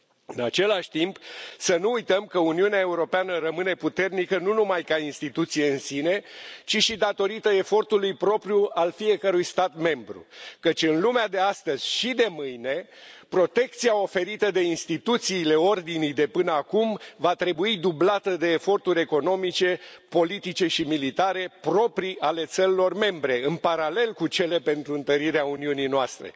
În același timp, să nu uităm că Uniunea Europeană rămâne puternică nu numai ca instituție în sine, ci și datorită efortului propriu al fiecărui stat membru, căci, în lumea de astăzi și de mâine, protecția oferită de instituțiile ordinii de până acum va trebui dublată de eforturi economice politice și militare proprii ale țărilor membre, în paralel cu cele pentru întărirea Uniunii noastre.